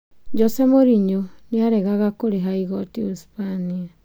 Joseph Mourinho nĩaregega kũriba igoti Uhispania